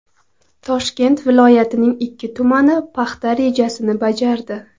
Toshkent viloyatining ikki tumani paxta rejasini bajardi .